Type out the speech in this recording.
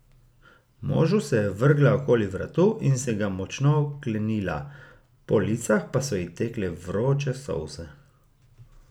Možu se je vrgla okoli vratu in se ga močno oklenila, po licih pa so ji tekle vroče solze.